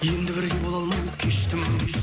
енді бірге бола алмаймыз кештім